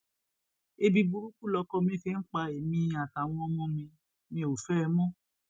ebi burúkú lọkọ mi fi ń pa èmi àtàwọn ọmọ mi ò fẹ ẹ mọ